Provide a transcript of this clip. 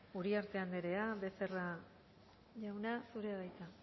uriarte andrea becerra jauna zurea de hitza